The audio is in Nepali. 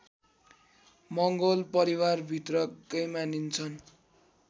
मङ्गोल परिवारभित्रकै मानिन्छन्